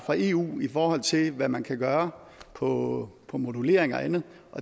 eu i forhold til hvad man kan gøre på på modulering og andet og